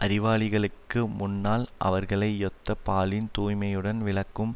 அறிவாளிகளுக்கு முன்னால் அவர்களையொத்த பாலின் தூய்மையுடன் விளக்கும்